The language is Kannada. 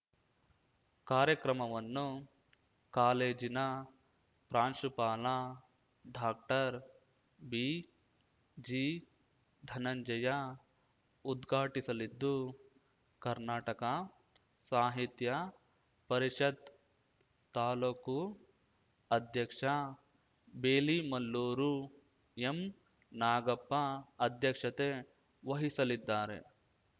ಕಾರ್ಯಕ್ರಮವನ್ನು ಕಾಲೇಜಿನ ಪ್ರಾಂಶುಪಾಲ ಡಾಕ್ಟರ್ ಬಿಜಿ ಧನಂಜಯ ಉದ್ಘಾಟಿಸಲಿದ್ದು ಕರ್ನಾಟಕ ಸಾಹಿತ್ಯ ಪರಿಷತ್ ತಾಲೂಕು ಅಧ್ಯಕ್ಷ ಬೇಲಿಮಲ್ಲೂರು ಎಂನಾಗಪ್ಪ ಅಧ್ಯಕ್ಷತೆ ವಹಿಸಲಿದ್ದಾರೆ